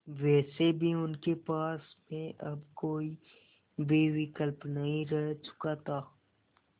वैसे भी उनके पास में अब कोई भी विकल्प नहीं रह चुका था